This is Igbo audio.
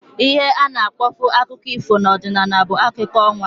Ihe ana akpọbu akụkọ ifo na ọdịnala bụ akụkọ ọnwa